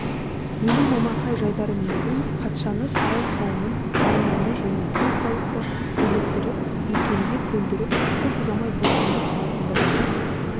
менің момақан жайдары мінезім патшаны сарай қауымын армияны және бүкіл халықты иліктіріп икемге көндіріп көп ұзамай бостандық алатындығыма